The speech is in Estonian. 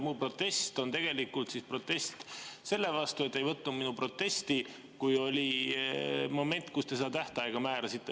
Mu protest on tegelikult protest selle vastu, et te ei võtnud kuulda minu protesti, kui oli moment, kui te seda tähtaega määrasite.